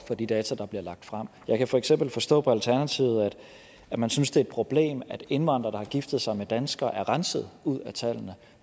for de data der bliver lagt frem jeg kan for eksempel forstå på alternativet at man synes det er et problem at indvandrere giftet sig med danskere er renset ud af tallene